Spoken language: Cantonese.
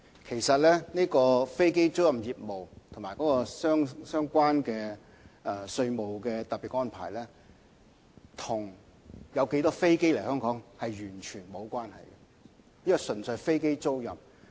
其實飛機租賃業務和提供相關的稅務特別安排，跟有多少架飛機來香港完全無關，這業務純粹涉及飛機租賃。